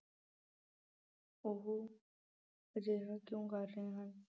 ਉਹ ਅਜਿਹਾ ਕਿਉਂ ਕਰ ਰਹੇ ਹਨ।